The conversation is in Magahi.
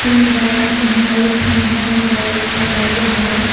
कौन दरवाजा हई ई खंभवा मे हई एगो दरवाजा हइ ।